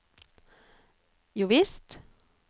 jovisst